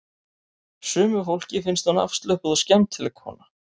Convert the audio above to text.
Sumu fólki finnst hún afslöppuð og skemmtileg kona